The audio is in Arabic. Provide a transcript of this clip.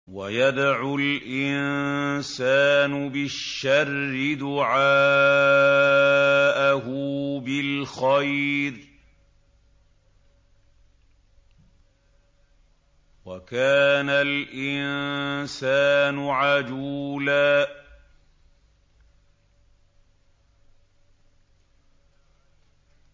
وَيَدْعُ الْإِنسَانُ بِالشَّرِّ دُعَاءَهُ بِالْخَيْرِ ۖ وَكَانَ الْإِنسَانُ عَجُولًا